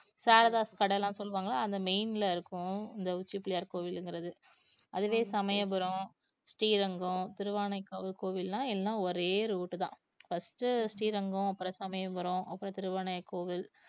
சாரதாஸ் கடை எல்லாம் சொல்லுவாங்க அந்த main ல இருக்கும் இந்த உச்சி பிள்ளையார் கோவில்ங்கிறது அதுவே சமயபுரம், ஸ்ரீரங்கம், திருவானைக்காவல் கோவில்லாம் எல்லாம் ஒரே route தான் first ஸ்ரீரங்கம் அப்புறம் சமயபுரம் அப்புறம் திருவானைக்காவல்